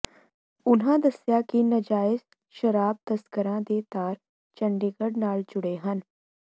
ਉਨ੍ਹਾਂ ਦੱਸਿਆ ਕਿ ਨਜਾਇਜ਼ ਸ਼ਰਾਬ ਤਸਕਰਾਂ ਦੇ ਤਾਰ ਚੰਡੀਗੜ੍ਹ ਨਾਲ ਜੁੜੇ ਹਨ